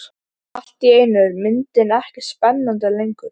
Bauð lögmaður Birni þá iðran í hið þriðja sinn.